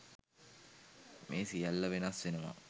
මේ සියල්ල වෙනස් වෙනවා